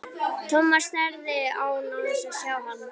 Thomas starði á hann án þess að sjá hann.